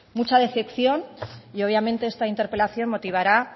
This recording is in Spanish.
mucha decepción obviamente esta interpelación motivará